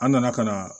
An nana ka na